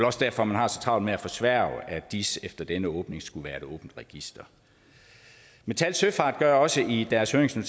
også derfor at man har så travlt med at forsværge at dis efter denne åbning skulle være et åbent register metal søfart gør også i deres høringssvar